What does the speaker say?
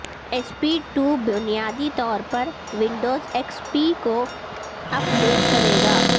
S two ٹو بنیادی طور پر ونڈوز ایکس پی کو اپ ڈیٹ کرے گا